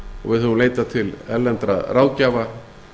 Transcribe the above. og við höfum leitað til erlendra ráðgjafa